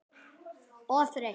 Og þreytt.